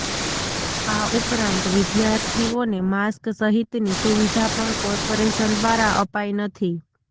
આ ઉપરાંત વિદ્યાર્થીઓને માસ્ક સહિતની સુવિધા પણ કોર્પોરેશન દ્વારા અપાઈ નથી